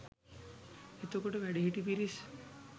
එතකොට වැඩිහිටි පිරිස්